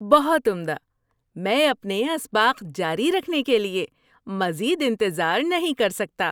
بہت عمدہ! میں اپنے اسباق جاری رکھنے کے لیے مزید انتظار نہیں کر سکتا۔